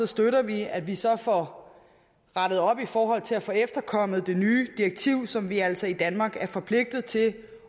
støtter vi at vi så får rettet op i forhold til at få efterkommet det nye direktiv som vi altså i danmark er forpligtet til